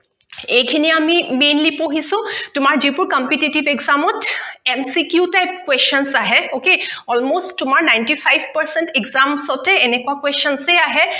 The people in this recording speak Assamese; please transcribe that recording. এইখিনি আমি Mainly পঢ়িছো তোমাৰ যিবোৰ Competitive Exam ত MCQ Type Questions আহে Okay Almost তোমাৰ NInety five percent Exams তে এনেকোৱা Questions য়ে আহে